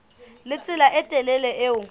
le tsela e telele eo